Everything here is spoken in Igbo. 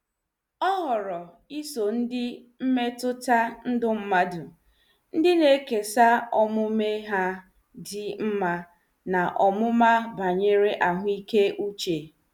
Ọ họrọ iso ndị mmetụta ndụ mmadụ, ndị na-ekesa omume ha dị mma na ọmụma banyere ahụike uche.